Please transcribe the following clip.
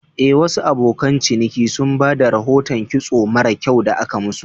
Eh, Wasu abokan ciniki sun ba da rahoton kitson mara kyau da aka musu.